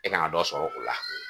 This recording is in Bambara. E kan ŋa dɔ sɔrɔ o la